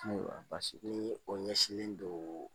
Paseke o ɲɛsinlen don